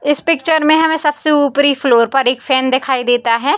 इस पिक्चर में हमें सबसे उपरी फ्लोर पर एक फैन दिखाई देता है।